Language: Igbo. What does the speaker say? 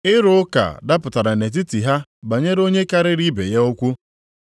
Ịrụ ụka dapụtara nʼetiti ha banyere onye karịrị ibe ya ukwuu.